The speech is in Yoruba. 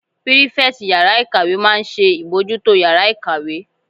Pírífẹ̀tì yàrá-ìkàwé máa n ṣe ìbojútó yàrá-ìkàwé